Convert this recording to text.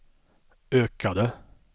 ökade